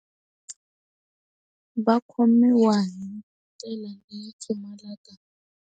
Va khomiwa hi ndlela leyi pfumalaka.